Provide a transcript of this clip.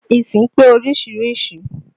Ìsìn pé oríṣiríṣi